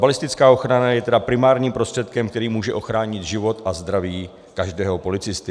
Balistická ochrana je tedy primárním prostředkem, který může ochránit život a zdraví každého policisty.